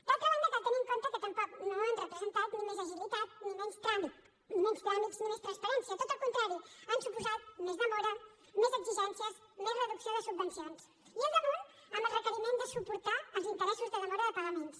d’altra banda cal tenir en compte que tampoc no han representat ni més agilitat ni menys tràmits ni més transparència tot al contrari han suposat més demora més exigències més reducció de subvencions i al damunt amb el requeriment de suportar els interessos de demora de pagaments